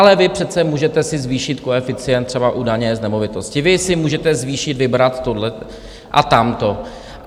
Ale vy přece můžete si zvýšit koeficient třeba u daně z nemovitosti, vy si můžete zvýšit, vybrat tohle a tamto.